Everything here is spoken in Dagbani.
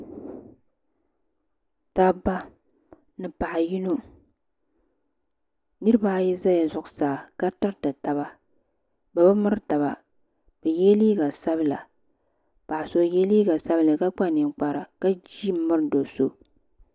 dabba ni paɣa yino nitiba ayi zala zuɣusaa ka tiriti taba bɛ bi miri taba bɛ yela liiga sabila paɣa so o yela liiga sabila ka kpa ninkpara ka ʒi m miri do'so.